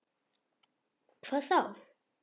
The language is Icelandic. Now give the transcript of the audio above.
Hvað þá!